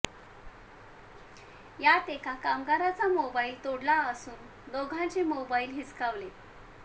यात एका कामगाराचा मोबाईल तोडला असून दोघांचे मोबाईल हिसकावले